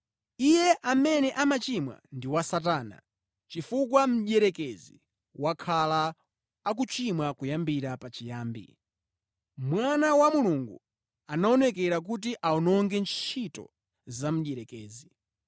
Iye amene amachimwa ndi wa Satana, chifukwa mdierekezi wakhala akuchimwa kuyambira pa chiyambi. Mwana wa Mulungu anaonekera kuti awononge ntchito za mdierekezi.